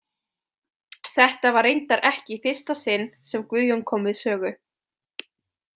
Þetta var reyndar ekki í fyrsta sinn sem Guðjón kom við sögu.